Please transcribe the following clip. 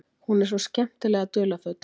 Hún er svo skemmtilega dularfull.